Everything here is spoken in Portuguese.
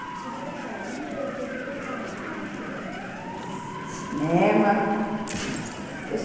E vocês saíam, vocês iam para onde passear assim nessa juventude? Cinema...Uhum.